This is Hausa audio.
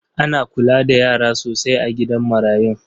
Ana kula da yara sosai a gidan marayun?